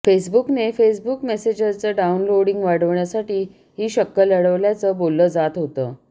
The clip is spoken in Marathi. फेसबुकने फेसबुक मेसेंजरचं डाऊनलोडिंग वाढवण्यासाठी ही शक्कल लढवल्याचं बोललं जात होतं